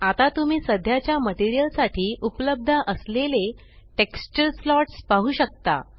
आता तुम्ही सध्याच्या मटेरियल साठी उपलब्ध असलेले टेक्स्चर स्लॉट्स पाहु शकता